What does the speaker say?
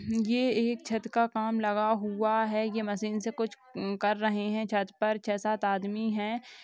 ये एक छत का काम लगा हुआ है ये मशीन से कुछ उम् कर रहे है छत पर छह सात आदमी है।